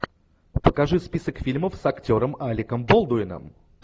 покажи список фильмов с актером алеком болдуином